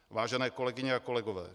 Vážené kolegyně a kolegové.